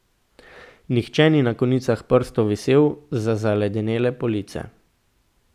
Nihče ni na konicah prstov visel z zaledenele police.